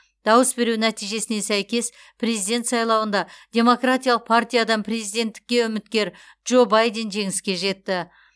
дауыс беру нәтижесіне сәйкес президент сайлауында демократиялық партиядан президенттікке үміткер джо байден жеңіске жетті